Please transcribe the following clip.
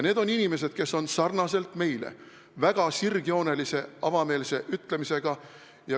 Need on inimesed, kes on nagu meiegi väga sirgjoonelise ja avameelse ütlemisega.